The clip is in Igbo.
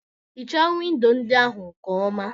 Hichaa windo ndị ahụ nke ọma